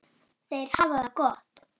Þær hafa það gott.